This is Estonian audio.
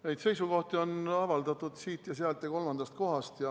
Neid seisukohti on avaldatud siit ja sealt ja kolmandast kohast.